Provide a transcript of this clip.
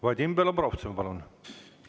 Vadim Belobrovtsev, palun!